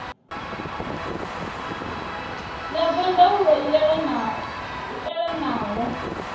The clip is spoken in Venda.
ya zwa ndaulo i elanaho